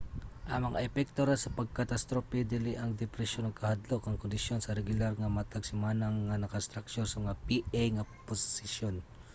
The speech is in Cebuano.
ang mga epekto ra sa pag-catastrophe dili ang depresyon ug kahadlok ang kondisyon sa regular nga matag semana nga naka-structure nga mga pa nga sesyon